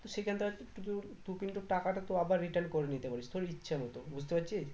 তো সেখানটা তুতুর তুই কিন্তু টাকাটা তো আবার return করে নিতে পারিস তোর ইচ্ছে মত বুঝতে পারছিস